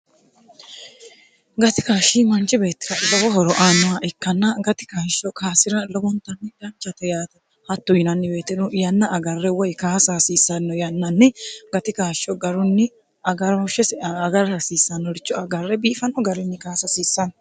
gati kaashshi manchi beettira gowo horo aanoha ikkanna gatikaashsho kaasira lowontmidanchate yaata hattu yinannibeetinu yanna agarre woy kaasa hasiissanno yannanni gati kaashsho garunni ghsheiagar hasiissannoricho agarre biifanno garinni kaasa haasiissanno